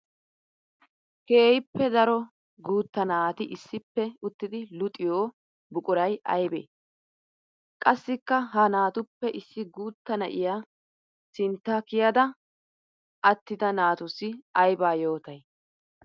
Keehippe daro guutta naati issippe uttiddi luxiyo buquray aybbe? Qassikka ha naatuppe issi guuta na'iya sintta kiyadda attidda naatussi aybba yootay?